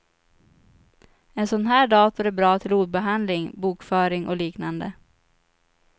En sån här dator är bra till ordbehandling, bokföring och liknande.